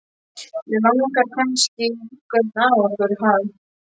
Þig langar kannski í einhvern af okkur, ha?